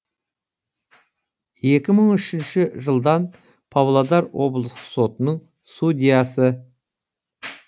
екі мың үшінші жылдан павлодар облыстық сотының судьясы